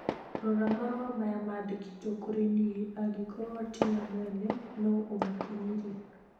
Rora marũa maya marandĩkĩtwo kũrĩ niĩ. Angĩkorũo ti mo mwene, no ũmakinyĩrie.